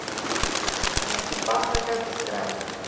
mees toepaslike beskrywing